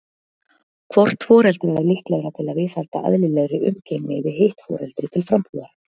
Hvort foreldra er líklegra til að viðhalda eðlilegri umgengni við hitt foreldri til frambúðar?